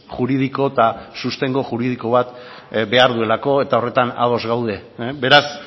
juridiko eta sostengu juridiko bat behar duelako eta horretan ados gaude beraz